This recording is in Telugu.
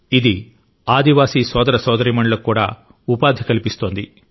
ఇది ఆదివాసి సోదర సోదరీమణులకు కూడా ఉపాధి కల్పిస్తోంది